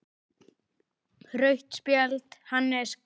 Rautt spjald: Hannes Grimm.